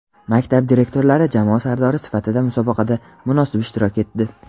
Maktab direktorlari jamoa sardori sifatida musobaqada munosib ishtirok etdi.